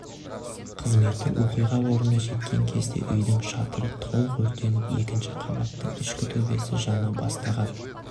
қызметі оқиға орнына жеткен кезде үйдің шатыры толық өртеніп екінші қабаттың ішкі төбесі жана бастаған